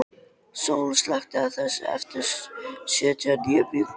Sól, slökktu á þessu eftir sjötíu og níu mínútur.